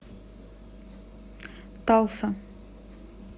талса